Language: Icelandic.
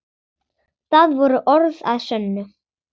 Það voru orð að sönnu.